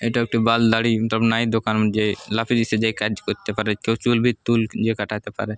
এইটা একটি ৱাল দাড়ি নাই দোকান। যে কাজ করতে পারে। কেউ চুল বিক চুল কাটাতে পারে।